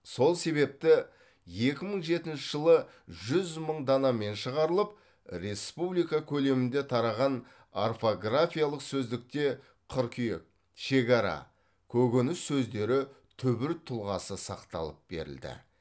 сол себепті екі мың жетінші жылы жүз мың данамен шығарылып республика көлемінде тараған орфографиялық сөздікте қыркүйек шекара көкөніс сөздері түбір тұлғасы сақталып берілді